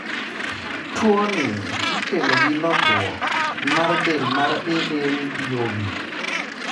Tuwoni ikelo gi lokruok mar del mar ALDOB.